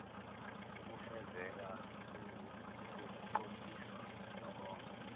ukufezeka kokuqondiswa nokonga